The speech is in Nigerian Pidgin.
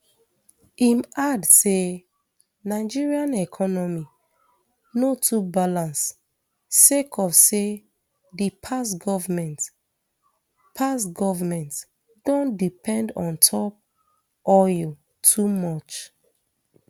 im add say nigeria economy no too balance sake of say di past goment past goment don depend ontop oil too much